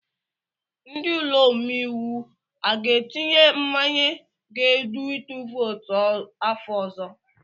Ndi ụlọ omeiwu aga etinye mmanye ga-edu itu vootu afọ ọzọ?